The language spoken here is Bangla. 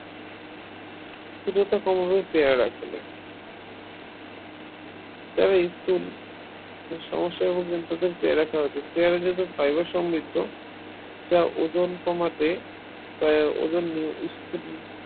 স্থুললতা কমাবে পেয়ারা খেলে যারা স্থুল সমস্যায় ভুগছেন তাদের পেয়ারা খাওয়া উচিত পেয়ারা যেহেতু fibre সমৃদ্ধ যা ওজন কমাতে ওজন নিয় স্থুল